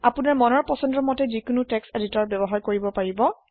আপনাৰ মমন পচন্দৰ মতে যিকোনো টেক্সট এডিটৰ ব্যৱহাৰ কৰিব পাৰে